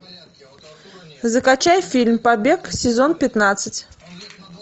закачай фильм побег сезон пятнадцать